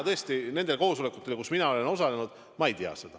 Tõesti, nendel koosolekutel, kus mina olen osalenud, ma pole seda kuulnud.